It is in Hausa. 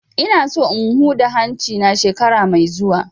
Ina so in huda hanci na shekara mai zuwa